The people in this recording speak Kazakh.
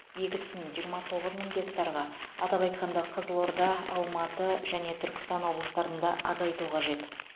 егісін жиырма тоғыз мың гектарға атап айтқанда қызылорда алматы және түркістан облыстарында азайту қажет